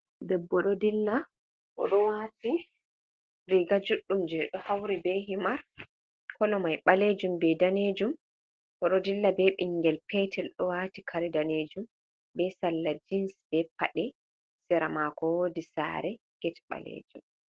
Debbo ɗo dilla. O ɗo waati riga juɗɗum je ɗo hauri be himar, kolo mai ɓaleejum, be daneejum. Oɗo dilla be ɓingel petel ɗo waati kare daneejum, be salla jins, be paɗe, sera makao woodi saare get ɓaleejum.